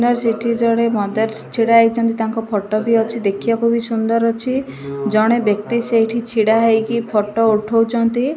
ସେଠି ଜଣେ ମଦରସ ଛିଡା ହେଇଛନ୍ତି ତାଙ୍କ ଫଟ ବି ଅଛି ଦେଖିବାକୁ ବି ସୁନ୍ଦର ଅଛି ଜଣେ ବ୍ୟକ୍ତି ସେଇଠି ଛିଡା ହେଇକି ଫଟ ଉଠଉଛନ୍ତି।